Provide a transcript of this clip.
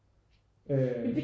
Øh